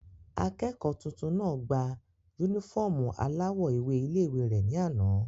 Akẹ́kọ̀ọ́ tuntun náà gba yúnífọ́ọ̀mù aláwọ̀ ewé ilé-ìwé rẹ̀ ní àná